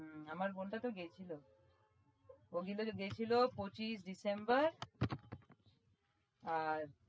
হম আমার বোনটা তো গেছিলো ও যেদিন গেছিলো পঁচিশ december আর